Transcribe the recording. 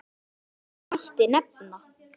Fleiri dæmi mætti nefna.